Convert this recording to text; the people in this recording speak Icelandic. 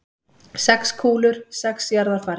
Sex kúlur, sex jarðarfarir.